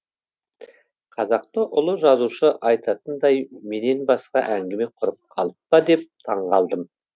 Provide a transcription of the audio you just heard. қазақтың ұлы жазушы айтатындай менен басқа әңгіме құрып қалып па деп таңғалдым